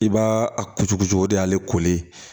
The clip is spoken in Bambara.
I b'a a kucu cogo o de y'ale kooli ye